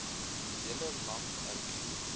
hele land erken